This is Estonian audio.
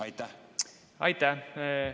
Aitäh!